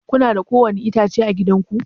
Kuna da ko wani itãciya à gidan ku?